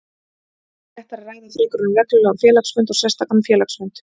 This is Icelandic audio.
væri réttara að ræða frekar um reglulegan félagsfund og sérstakan félagsfund.